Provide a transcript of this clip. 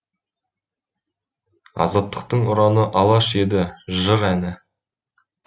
азаттықтың ұраны алаш еді жыр әні